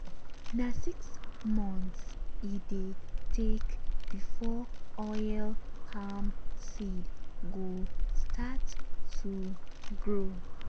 na six months e dey take before oil palm seed go start to grow.